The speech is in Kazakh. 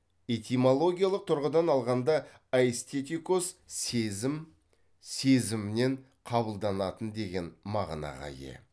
этимологиялық тұрғыдан алғанда айстетикос сезім сезіммен қабылданатын деген мағынаға ие